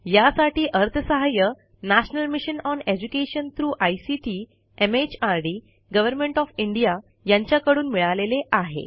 यासाठी अर्थसहाय्य national mission on education through ICT mhrdगव्हर्नमेंट ओएफ इंडिया यांच्याकडून मिळालेले आहे